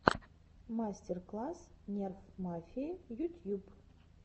мастер класс нерф мафии ютьюб